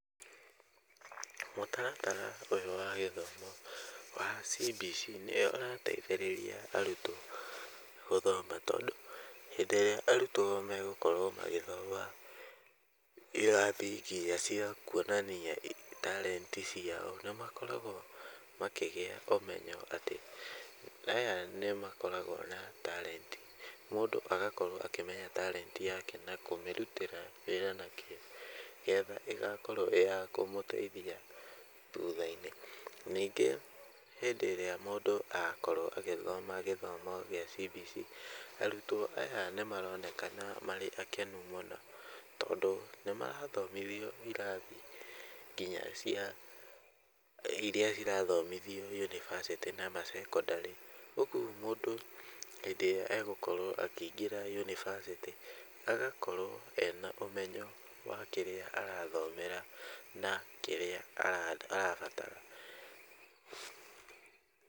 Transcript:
Mũtaratara ũyũ wa gĩthomo wa CBC ,nĩ ũrateithĩrĩria arutwo gũthoma tondũ hĩndĩ ĩrĩa arutwo magũkorwo magĩthoma irathii nginya cia kwonania tarenti ciao, na makoragwo makĩgĩa ũmenyo atĩ, aya nĩmakoragwo na tarenti , mũndũ agakorwo akĩmenya tarenti yake na kũmĩrutĩra wĩra na kĩo, nĩgetha ĩgakorwo ĩya kũmũteitha thutha-inĩ , ningĩ hĩndĩ ĩrĩa mũndũ akorwo agĩthoma gĩthomo gĩa CBC , arutwo aya nĩ maronekana marĩ akenu mũno, tondũ nĩ marathomithio irathi nginya irathi cia, iria irathomithio yunivasĩtĩ na masekondarĩ , ũgwo mũndũ hĩndĩ ĩrĩa agũkorwo akĩingĩra yunivasĩtĩ , agakorwo ena ũmenyo wa kĩrĩa arathomera, na kĩrĩa arabatara.